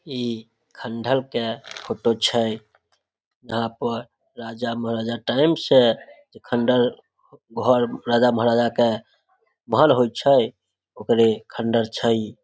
इ खण्डर के फोटो छै | यहाँ पर राजा महराजा टाइम से खण्डर घर राजा महराजा के भल होय छै ओकरे खण्डर छै ।